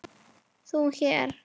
ÞÚ HÉR?